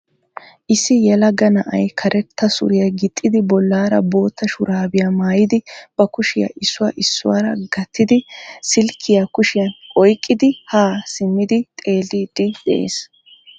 Issi yelaga na'ay karetta suriya gixxidi bollaara bootta shuraabiya maayidi ba kushiya issuwa issuwara gattidi, silkkiyaa kushiyan oykkidi haa simmidi xelliidi dees.